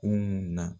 Kunun na